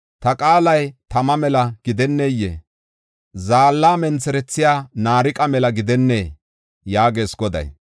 Ta qaalay tama mela gidennee? Zaalla mentherethiya naariqa mela gidennee?” yaagees Goday.